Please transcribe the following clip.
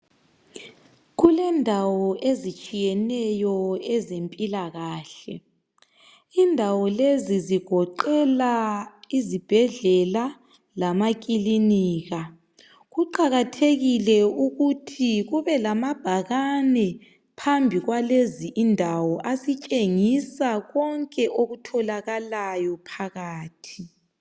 Kulendawo ezitshiyeneyo ezempilakahle indawo lezi zigoqela izibhedlela lamakilinika kuqakathekile ukuthi kube lamabhakane phambi kwalezi indawo asitshengisa konke okutholakalayo phakathi